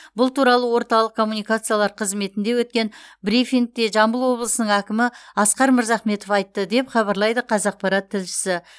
бұл туралы орталық коммуникациялар қызметінде өткен брифингте жамбыл облысының әкімі асқар мырзахметов айтты деп хабарлайды қазақпарат тілшісі